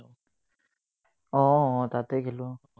উম তাতেই খেলো।